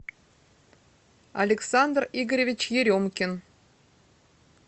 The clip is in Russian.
александр игоревич еремкин